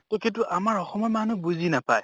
তʼ কিন্তু আমাৰ অসমৰ মানুহ বুজি নাপায়